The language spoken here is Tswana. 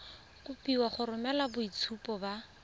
kopiwa go romela boitshupo ba